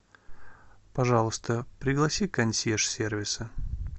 пожалуйста пригласи консьерж сервиса